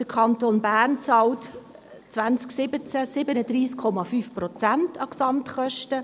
Der Kanton Bern bezahlte im Jahr 2017 37,5 Prozent an die Gesamtkosten.